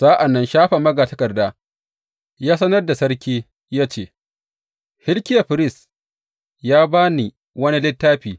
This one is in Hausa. Sa’an nan Shafan magatakarda ya sanar da sarki ya ce, Hilkiya firist ya ba ni wani littafi.